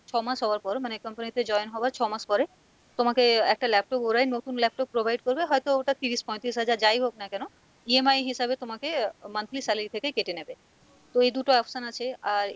ছ মাস হবার পর মানে company তে join হবার ছ মাস পরে, তোমাকে একটা laptop, ওরাই নতুন laptop provide করবে হয়তো ওটা তিরিশ পয়তিরিশ হাজার যাই হোক না কেন EMI হিসাবে তোমাকে আহ monthly salary থেকেই কেটে নেবে, তো এই দুটো option আছে আর,